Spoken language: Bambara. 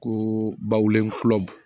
Ko baw lenkura